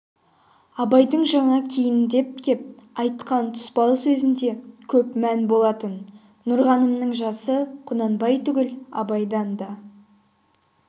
абайдың жаңа кейіндеп кеп айтқан тұспал сөзінде көп мән болатын нұрғанымның жасы құнанбай түгіл абайдан да